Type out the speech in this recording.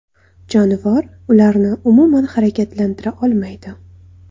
Jonivor ularni umuman harakatlantira olmaydi.